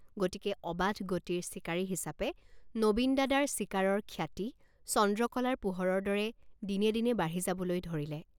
গতিকে অবাধ গতিৰ চিকাৰী হিচাপে নবীন দাদাৰ চিকাৰত খ্যাতি চন্দ্ৰকলাৰ পোহৰৰ দৰে দিনে দিনে বাঢ়ি যাবলৈ ধৰিলে।